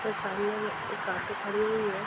के सामने में एक ऑटो खड़ी हुई है।